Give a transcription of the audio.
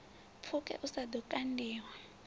pfuke u sa ḓo kandiwa